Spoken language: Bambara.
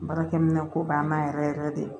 Baarakɛminɛn ko b'an na yɛrɛ yɛrɛ de